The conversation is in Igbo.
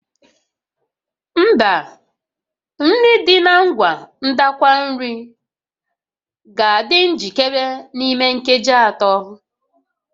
Mba, nri dị na ngwa ndakwa nri ga-adị njikere n'ime nkeji atọ